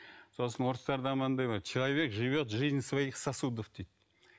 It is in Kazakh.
сосын орыстарда мынандай бар человек живет жизнь своих сосудов дейді